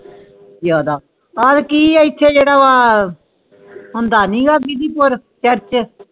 ਜਾਂਦਾ ਓਰ ਕਿ ਆ ਓਦੇ ਜੇਦਾ ਵ ਹੋਂਦ ਨਹੀਂ ਆ ਬੀਵੀਪੁਰ ਚਰਚੇ CHURCH